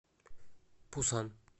пусан